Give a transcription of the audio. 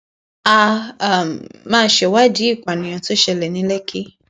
a um máa ṣèwádìí ìpànìyàn tó ṣẹlẹ ní lẹkì